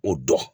O dɔn